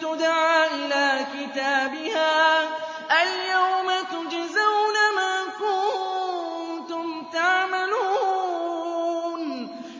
تُدْعَىٰ إِلَىٰ كِتَابِهَا الْيَوْمَ تُجْزَوْنَ مَا كُنتُمْ تَعْمَلُونَ